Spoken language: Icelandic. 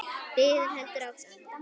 Biðin heldur áfram.